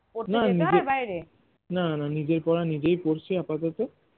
না না নিজের পড়া নিজের পড়ছি আপাতত